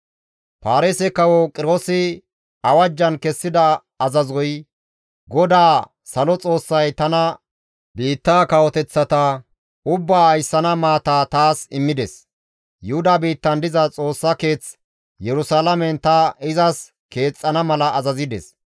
Paarise kawo Qiroosi awajjan kessida azazoy, «GODAA Salo Xoossay tana biitta kawoteththata ubbaa ayssana maata taas immides; Yuhuda biittan diza Xoossa Keeth Yerusalaamen ta izas keexxana mala azazides.